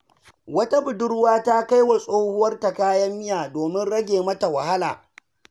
Wata budurwa ta kai wa tsohuwarta kayan miya domin rage mata wahala.